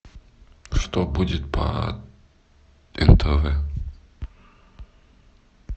что будет по нтв